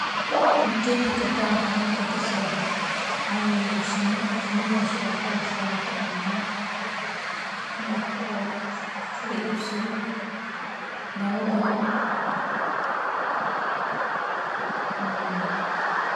Ma qeexi kartaa waxa halkan ka socdo, waxaa weye shini, shinidaaso kawar sarato malabkaa, malabko la ibsadho, dawo badan eh, waa weye.